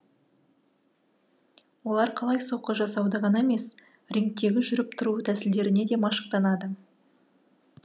олар қалай соққы жасауды ғана емес рингтегі жүріп тұру тәсілдеріне де машықтанады